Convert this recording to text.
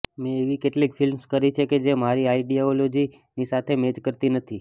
મેં એવી કેટલીક ફિલ્મ્સ કરી છે કે જે મારી આઇડિયોલોજીની સાથે મેચ કરતી નથી